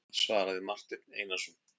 svaraði Marteinn Einarsson.